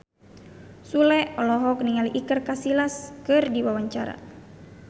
Sule olohok ningali Iker Casillas keur diwawancara